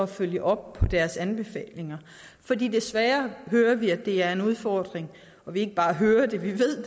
følge op på deres anbefalinger for desværre hører vi at det er en udfordring vi ikke bare hører det vi ved